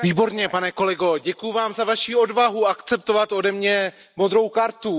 Výborně pane kolego, děkuji Vám za Vaši odvahu akceptovat ode mě modrou kartu.